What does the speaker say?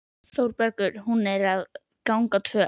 ÞÓRBERGUR: Hún er að ganga tvö!